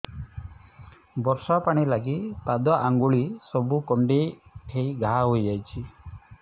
ବର୍ଷା ପାଣି ଲାଗି ପାଦ ଅଙ୍ଗୁଳି ସବୁ କୁଣ୍ଡେଇ ହେଇ ଘା ହୋଇଯାଉଛି